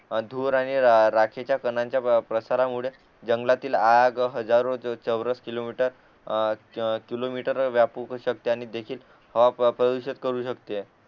धूर आणि राखेच्या कानांच्या प्रसारामुळे जंगलातील आग हजारो चौरस किलोमीटर किलोमीटर व्यापू पण शकते आणि देखील हवा प्रदूषित करू शकते